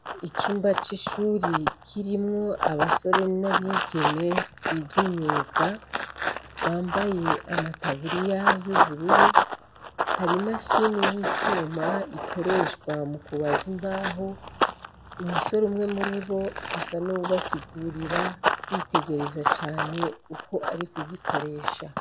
Icumba c'ishuri kirimwo abasore n'abigeme, big'imyuga bambaye amataburiya y'ubururu, har'imashini y'icuma, ikoreshwa mukubaza imbaho, umusore umwe muribo asa n'uwubasigirira, bitegereza cane uko ari kugikoresha.